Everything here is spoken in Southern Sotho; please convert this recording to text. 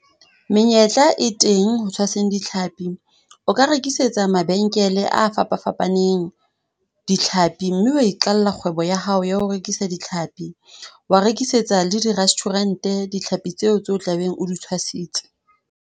Menyetla e teng ho tshwaseng ditlhapi. O ka rekisetsa mabenkele a fapafapaneng ditlhapi, mme wa iqalla kgwebo ya hao ya ho rekisa ditlhapi. Wa rekisetsa le di-restaurant ditlhapi tseo tse tlabeng o di tshwasitse.